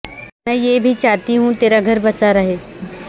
میں یہ بھی چاہتی ہوں تیرا گھر بسا رہے